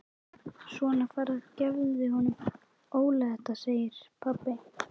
Svona farðu og gefðu honum Óla þetta segir pabbi.